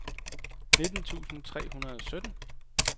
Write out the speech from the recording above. nitten tusind tre hundrede og sytten